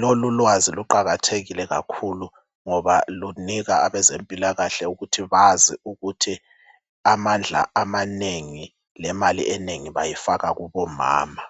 Lolulwazi luqakathekile kakhulu ngoba lunika abezempilakahle ukuthi bazi ukuthi amandla amanengi lemali enengi bayifaka kubomama.